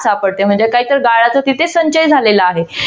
सापडते म्हणजे काही काही गाळाचा तिथे संचय झालेला आहे.